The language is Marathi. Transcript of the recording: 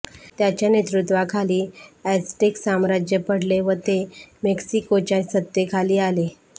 त्याच्या नेतृत्वाखाली एझटेक साम्राज्य पडले व ते मेक्सिकोच्या सत्तेखाली आले